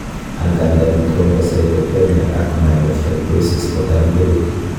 Angandan, thrombocytopenia ak myelofibrosis kotam korutu.